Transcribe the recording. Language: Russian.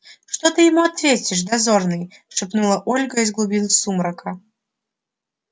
что ты ему ответишь дозорный шепнула ольга из глубин сумрака